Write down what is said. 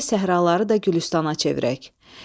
Gərək səhraları da gülüstanə çevirək.